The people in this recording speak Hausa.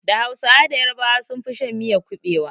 Da hausawa da yarabawa sun fi shan miyar kuɓewa